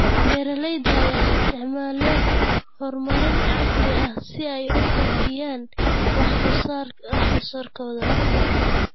Beeralayda ayaa isticmaalaya horumarin casri ah si ay u kordhiyaan wax soo saarkooda.